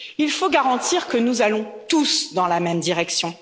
Il faut garantir que nous allons tous dans la même direction.